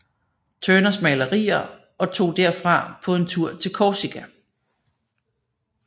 Turners malerier og tog derfra på en tur til Korsika